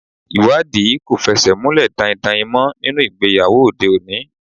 Ìwádìí kò fẹsẹ̀ múlẹ̀ daindain mọ́ nínú ìgbéyàwó òde òní.